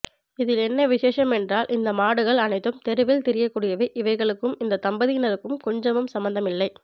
இதில் என்ன விசேஷம் என்றால் இந்த மாடுகள் அனைத்தும் தெருவில் திரியக்கூடியவை இவைகளுக்கும் இந்த தம்பதியினருக்கும் கொஞ்சமும் சம்பந்தமில்லை